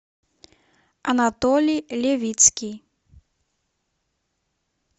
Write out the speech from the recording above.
анатолий левицкий